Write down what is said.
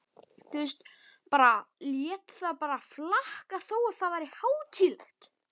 Lét það bara flakka þó að það væri hátíðlegt.